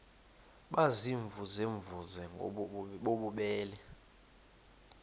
baziimvuze mvuze bububele